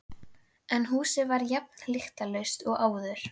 En húsið var jafn lyktarlaust og áður.